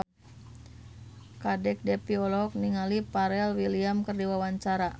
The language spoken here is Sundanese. Kadek Devi olohok ningali Pharrell Williams keur diwawancara